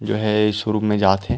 जो है शुरू में जात हे।